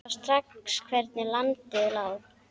Sá strax hvernig landið lá.